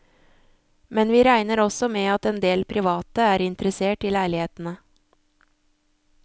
Men vi regner også med at endel private er interessert i leilighetene.